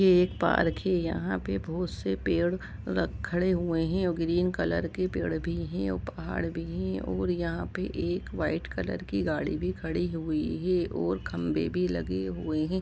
एक पार्क है यहां पर बहुत से पेड़ खड़े हुए हैं और ग्रीन कलर के पेड़ भी हैं और पहाड़ भी हैकार भी है और यहां पर एक वाइट कलर की गाड़ी भी खड़ी हुई है और खंबे भी लगे हुए हैं।